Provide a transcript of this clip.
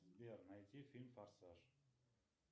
сбер найти фильм форсаж